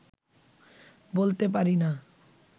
বলতে পারি না